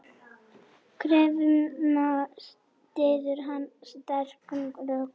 Kröfuna styður hann sterkum rökum.